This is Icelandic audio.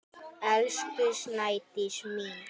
Elsku Snædís mín.